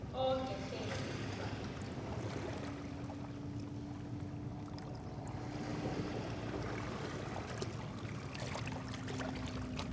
Okay ശരി എന്നാ by.